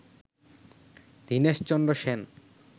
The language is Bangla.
দীনেশচন্দ্র সেন